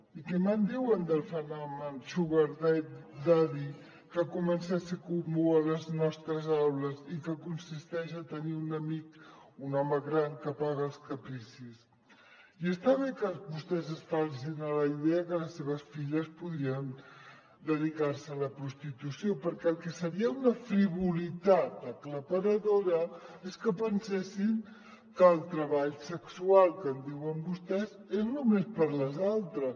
i què em diuen del fenomen sugar daddy que comença a ser comú a les nostres aules i que consisteix a tenir un amic un home gran que paga els capricis i està bé que vostès es facin a la idea que les seves filles podrien dedicar se a la prostitució perquè el que seria una frivolitat aclaparadora és que pensessin que el treball sexual que en diuen vostès és només per a les altres